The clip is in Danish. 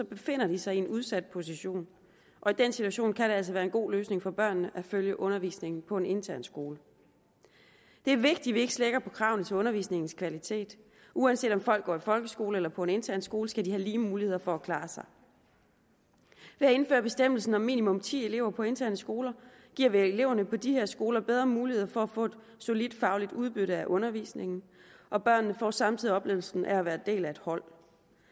befinder de sig i en udsat position og i den situation kan det altså være en god løsning for børnene at følge undervisningen på en intern skole det er vigtigt at vi ikke slækker på kravene til undervisningens kvalitet uanset om folk går i en folkeskole eller på en intern skole skal de have lige muligheder for at klare sig ved at indføre bestemmelsen om minimum ti elever på interne skoler giver vi eleverne på de her skoler bedre muligheder for at få et solidt fagligt udbytte af undervisningen og børnene får samtidig oplevelsen af at være en del af et hold